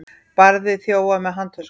Barði þjófa með handtösku